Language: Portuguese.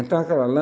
Então, aquela lã,